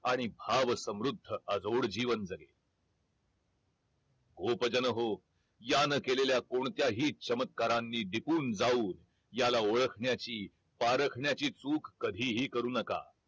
आणि भाव समृद्ध अजोड जीवन जगेल गोप जन हो यान केलेल्या कोणत्याही चमत्कारांनी दिपून जाऊन याला ओळखण्याची पारखण्याची चूक कधी हि करू नका